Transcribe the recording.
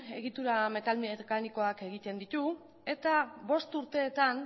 egitura metal mekanikoak egiten ditu eta bost urteetan